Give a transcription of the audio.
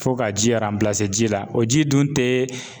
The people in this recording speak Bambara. Fo ka ji ji la o ji dun tɛ.